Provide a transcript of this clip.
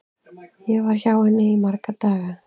Ég var hjá henni í marga daga.